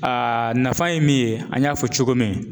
nafa ye min ye an y'a fɔ cogo min.